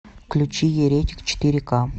включи еретик четыре ка